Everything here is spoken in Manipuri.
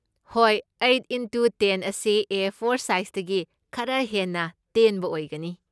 ꯍꯣꯏ, ꯑꯩꯠ ꯢꯟꯇꯨ ꯇꯦꯟ ꯑꯁꯤ ꯑꯦ ꯐꯣꯔ ꯁꯥꯏꯖꯇꯒꯤ ꯈꯔ ꯍꯦꯟꯅ ꯇꯦꯟꯕ ꯑꯣꯏꯒꯅꯤ꯫